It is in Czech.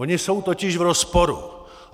Ona jsou totiž v rozporu.